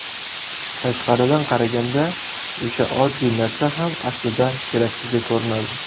Tashqaridan qaraganda o‘sha oddiy narsa ham aslida keraksizdek ko‘rinadi.